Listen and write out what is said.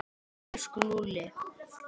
Elsku Lúlli.